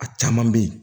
A caman bɛ ye